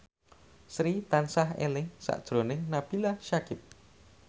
Sri tansah eling sakjroning Nabila Syakieb